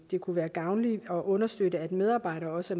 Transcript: kunne være gavnligt at understøtte at medarbejdere også